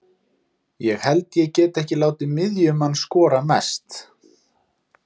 Ég held ég geti ekki látið miðjumann skora mest.